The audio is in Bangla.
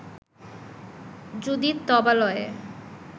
যদি তবালয়ে